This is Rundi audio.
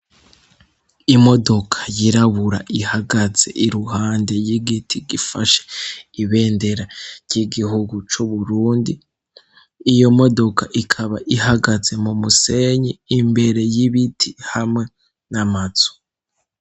Imodoka yirabura ihagaze iruhande y'igiti gifashe ibendera ry'igihugu c'uburundi iyo modoka ikaba ihagaze mu musenyi imbere y'ibiti hamwe n'amazu.